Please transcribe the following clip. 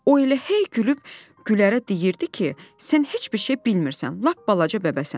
O elə hey gülüb Gülərə deyirdi ki, sən heç bir şey bilmirsən, lap balaca bəbəsən.